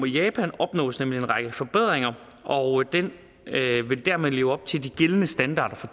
japan opnås nemlig en række forbedringer og den vil dermed leve op til de gældende standarder for